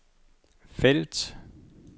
felt